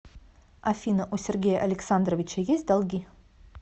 афина у сергея александровича есть долги